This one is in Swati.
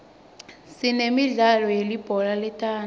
sinemidlalo yelibhola letandla